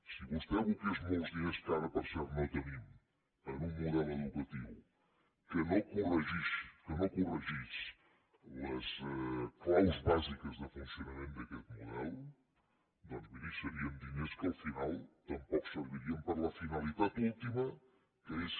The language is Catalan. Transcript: si vostè aboqués molts diners que ara per cert no tenim en un model educatiu que no corregís que no corregís les claus bàsiques de funcionament d’aquest model doncs miri serien diners que al final tampoc servirien per a la finalitat última que és